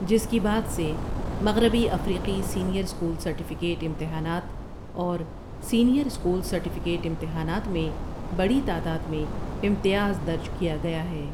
جس کی بعد سے مغربی افریقی سینئر اسکول سرٹیفکیٹ امتحانات اور سینئر اسکول سرٹیفکیٹ امتحانات میں بڑی تعداد میں امتیاز درج کیا گیا ہے ۔